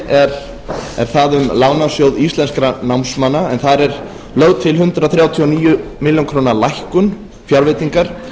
er það um lánasjóð íslenskra námsmanna en þar er lögð til hundrað þrjátíu og níu mkrlækkun fjárveitingar